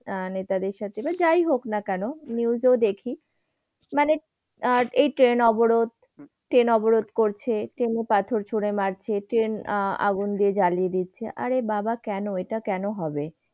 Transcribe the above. আহ নেতাজির সাথে but যায় হোক না কেন news এ দেখি। মানে, এই train অবরোধ। train অবরোধ করছে, train এ পাথর ছুড়ে মারছে। train আহ আগুন দিয়ে জ্বালিয়ে দিচ্ছে। আরে বাবা কেন এটা কেন হবে?